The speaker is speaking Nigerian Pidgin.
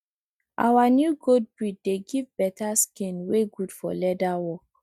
our new goat breed dey give better skin wey good for leather work